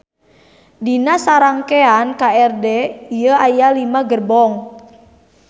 Dina sarangkean KRD ieu aya lima gerbong.